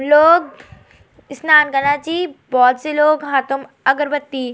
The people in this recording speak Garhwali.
लोग स्नान कना छी बहौत सी लोग हतम अगरबत्ती।